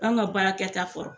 an ka baarakɛta fɔ